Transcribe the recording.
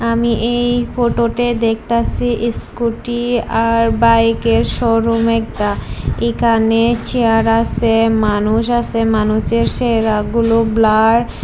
আমি এই ফটোতে দেখতাসি স্কুটি আর বাইকের শোরুম একটা এখানে চেয়ার আসে মানুষ আসে মানুষের চেহারাগুলো ব্লার ।